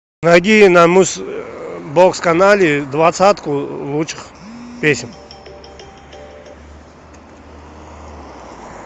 найди на муз бокс канале двадцатку лучших песен